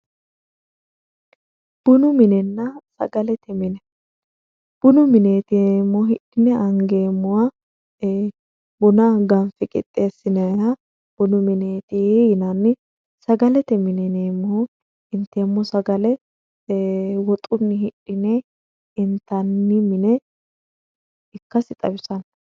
bunu minenna sagalete mine bunu mineeti yineemmohu hidhine angeemmoha buna ganfe qixxeessinanniha bunu mineeti yinanni sagalete mineeti yinannihu inteemmo sagale ee woxunni hidhine intanni mine ikkasi xawisanno.